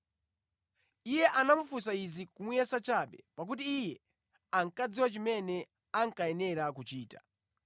Iye anafunsa izi kumuyesa chabe, pakuti Iye ankadziwa chimene ankayenera kuchita.